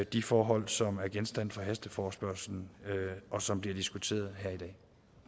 de forhold som er genstand for hasteforespørgslen og som bliver diskuteret her i dag